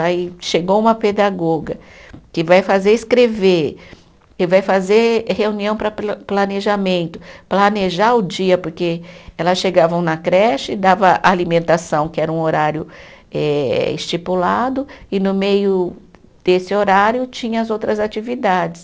Aí chegou uma pedagoga que vai fazer escrever, que vai fazer reunião para pla planejamento, planejar o dia, porque elas chegavam na creche, dava alimentação, que era um horário eh estipulado, e no meio desse horário tinha as outras atividades.